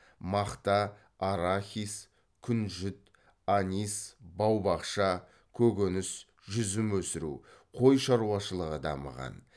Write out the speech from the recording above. мақта арахис күнжіт анис бау бақша көкөніс жүзім өсіру қой шаруашылығы дамыған